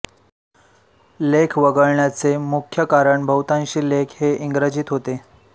लेख वगळण्याचे मुख्य कारण बहुतांशी लेख हे इंग्रजीत होते